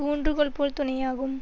ஊன்றுகோல் போல் துணையாகும்